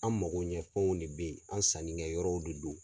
An mago ɲɛ fɛnw de bɛ ye an sanni kɛyɔrɔw de do.